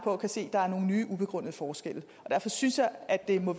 og kan se at der er nogle nye ubegrundede forskelle derfor synes jeg at det må